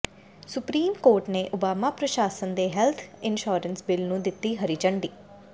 supreme court ਨੇ Obama ਪ੍ਰਸ਼ਾਸਨ ਦੇ ਹੈਲਥ ਇੰਸ਼ੋਰੈਂਸ ਬਿੱਲ ਨੂੰ ਦਿੱਤੀ ਹਰੀ ਝੰਡੀ